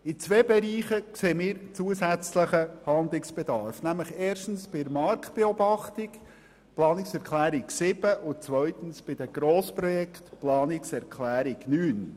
In zwei Bereichen sehen wir zusätzlichen Handlungsbedarf: bei der Marktbeobachtung und bei den Grossprojekten.